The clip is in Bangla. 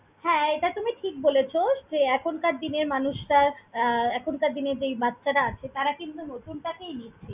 হ্যাঁ, এটা তুমি ঠিক বলেছ যে এখনকার দিনের মানুষরা আহ এখনকার দিনে যেই বাচ্ছারা আছে, তারা কিন্তু নতুনটাকেই নিচ্ছে।